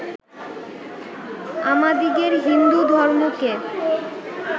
আমাদিগের হিন্দু ধর্মকে